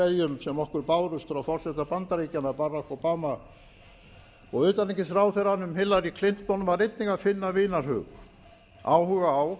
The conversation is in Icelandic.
sem okkur bárust frá forseta bandaríkjanna barack obama og utanríkisráðherranum hillary clinton var einnig að finna vinarhug áhuga á